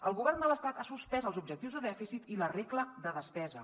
el govern de l’estat ha suspès els objectius de dèficit i la regla de despesa